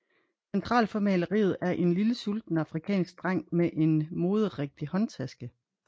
Centralt for maleriet er en lille sulten afrikansk dreng med en moderigtig håndtaske